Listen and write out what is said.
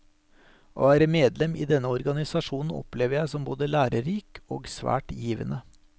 Å være medlem i denne organisasjonen opplever jeg som både lærerik og svært givende.